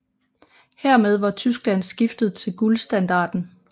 Hermed var Tyskland skiftet til guldstandarden